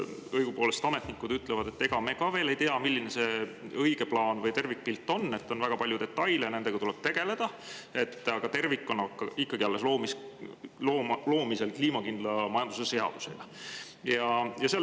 Õigupoolest ütlevad ametnikud, et ega nemad ka veel ei tea, milline see õige plaan või tervikpilt on, et on väga palju detaile ja nendega tuleb tegeleda, aga tervik on ikkagi alles kliimakindla majanduse seadusega loomisel.